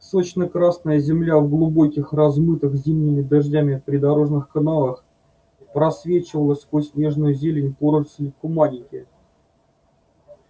сочно-красная земля в глубоких размытых зимними дождями придорожных канавах просвечивала сквозь нежную зелёную поросль куманики